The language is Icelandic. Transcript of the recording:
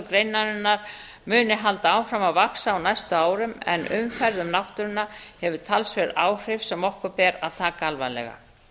greinarinnar muni halda áfram að vaxa á næstu árum en umferð um náttúruna hefur talsverð áhrif sem okkur ber að taka alvarlega